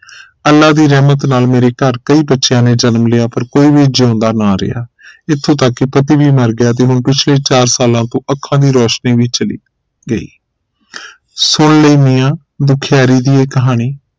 ਅਲਾਹ ਦੀ ਰਹਿਮਤ ਨਾਲ ਮੇਰੇ ਘਰ ਕਈ ਬੱਚਿਆਂ ਨੇ ਜਨਮ ਲਿਆ ਪਰ ਕੋਈ ਵੀ ਜਿਉਂਦਾ ਨਾ ਰਿਹਾ ਇਥੋਂ ਤਕ ਕੇ ਪਤੀ ਵੀ ਮਰ ਗਿਆ ਤੇ ਪਿਛਲੇ ਚਾਰ ਸਾਲਾਂ ਤੋਂ ਅੱਖਾਂ ਦੀ ਰੋਸ਼ਨੀ ਵੀ ਚਲੀ ਗਈ ਸੁਨ ਲੀ ਮੀਆ ਦੁਖਿਆਰੀ ਦੀ ਇਹ ਕਹਾਣੀ